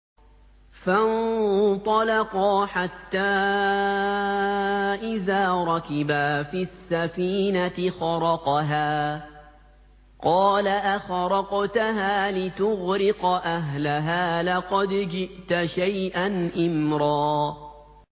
فَانطَلَقَا حَتَّىٰ إِذَا رَكِبَا فِي السَّفِينَةِ خَرَقَهَا ۖ قَالَ أَخَرَقْتَهَا لِتُغْرِقَ أَهْلَهَا لَقَدْ جِئْتَ شَيْئًا إِمْرًا